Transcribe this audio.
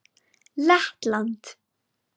Lettland